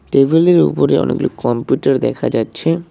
টেবিলের ওপরে অনেকগুলো কম্পিউটার দেখা যাচ্ছে।